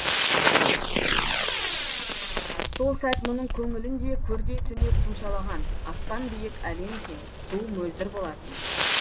сол сәт мұның көңілін де көрдей түнек тұмшалаған аспан биік әлем кең су мөлдір болатын